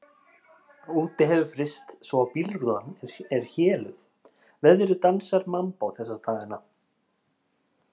Úti hefur fryst svo að bílrúðan er héluð, veðrið dansar mambó þessa dagana.